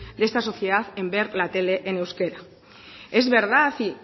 de esta sociedad de ver la tele en euskera es verdad y